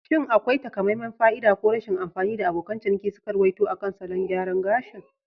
Shin akwai takamaiman fa'ida ko rashin amfani da abokan ciniki suka ruwaito akan salon gyaran gashin??